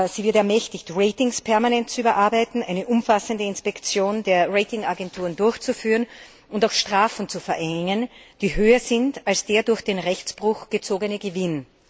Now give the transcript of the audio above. Sie wird ermächtigt, Ratings permanent zu überarbeiten, eine umfassende Inspektion der Ratingagenturen durchzuführen und auch Strafen zu verhängen, die höher sind als der durch den Rechtsbruch gezogene Gewinn.